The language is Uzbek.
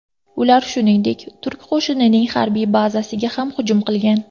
Ular, shuningdek, turk qo‘shinining harbiy bazasiga ham hujum qilgan.